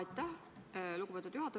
Aitäh, lugupeetud juhataja!